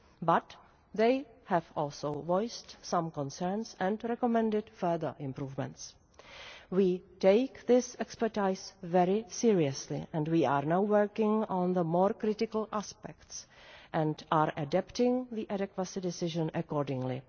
But they have also voiced some concerns and recommended further improvements. We take this expertise very seriously, and we are now working on the more critical aspects and are adapting the adequacy decision accordingly.